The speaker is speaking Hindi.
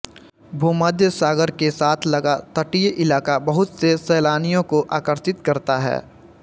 भूमध्य सागर के साथ लगा तटीय इलाक़ा बहुत से सैलानियों को आकर्षित करता है